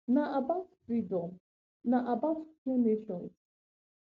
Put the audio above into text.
na about freedom na about two nations